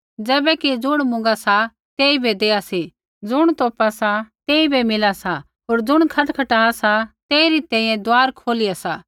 किबैकि ज़ुण मुँगा सा तेइबै देआ सी ज़ुण तोपा सा तेइबै मिला सा होर ज़ुण खटखटा सा तेइरी तैंईंयैं दुआर खोलिया सा